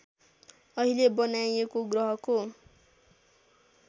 अहिले बनाइएको ग्रहको